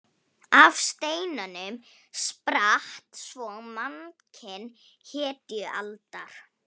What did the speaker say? Af steinunum spratt svo mannkyn hetjualdar.